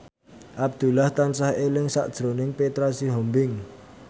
Abdullah tansah eling sakjroning Petra Sihombing